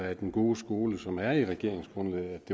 af den gode skole som er i regeringsgrundlaget